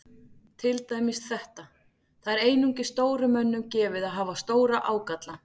Til dæmis þetta: Það er einungis stórum mönnum gefið að hafa stóra ágalla.